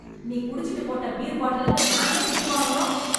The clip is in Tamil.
நீ குடிச்சிட்டு போட்ட பீர் பாட்டிலுக்கு நான் ஏன் திட்டு வாங்கணும்?